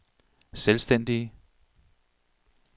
selvstændige